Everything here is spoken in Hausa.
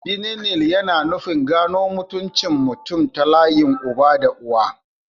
Bilineal yana nufin gano mutuncin mutum ta layin uba da uwa.